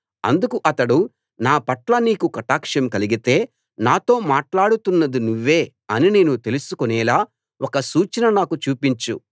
అందుకు అతడు నా పట్ల నీకు కటాక్షం కలిగితే నాతో మాట్లాడుతున్నది నువ్వే అని నేను తెలుసుకొనేలా ఒక సూచన నాకు చూపించు